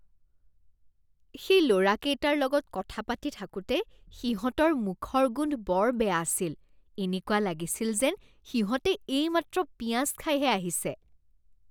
সেই ল'ৰাকেইটাৰ লগত কথা পাতি থাকোতে সিহঁতৰ মুখৰ গোন্ধ বৰ বেয়া আছিল। এনেকুৱা লাগিছিল যেন সিহঁতে এইমাত্ৰ পিঁয়াজ খাইহে আহিছে।